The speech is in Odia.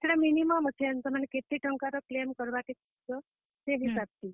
ସେଟା minimum ଅଛେ ,ମାନେ ସେଟା କେତେ ଟଙ୍କା ର claim କରବା କେ ଚାହେଁବ ସେ ହିସାବ ଥି।